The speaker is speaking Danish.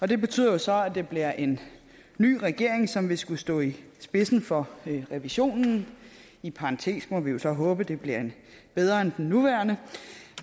det betyder så at det bliver en ny regering som vil skulle stå i spidsen for revisionen i parentes må vi så håbe at det bliver en bedre end den nuværende